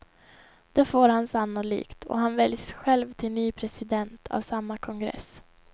Det får han sannolikt, och han väljs själv till ny president av samma kongress.